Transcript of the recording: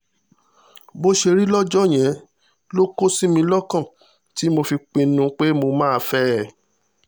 bó ṣe rí lọ́jọ́ yẹn ló kó sí mi lọ́kàn tí mo fi pinnu pé mo máa fẹ́ ẹ